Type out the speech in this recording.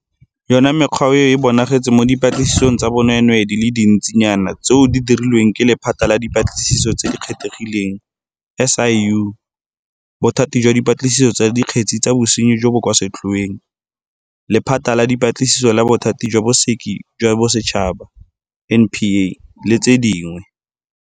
Yona mekgwa eo e bonagetse mo dipatlisisong tsa bonweenwee di le dintsi nyana tseo di dirilweng ke Lephata la Dipatlisiso tse di Kgethegileng SIU, Bothati jwa Dipatlisiso tsa Dikgetse tsa Bosenyi jo bo kwa Setlhoeng, Lephata la Dipatlisiso la Bothati jwa Bosekisi jwa Bosetšhaba NPA le tse dingwe.